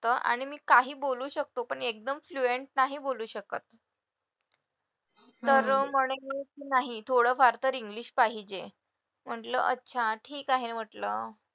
आणि मी काही बोलू शकतो पण एकदम fluent नाही बोलू शकत तर म्हणे की नाही थोडं फार तर english पाहिजे म्हटलं अच्छा ठीक आहे म्हटलं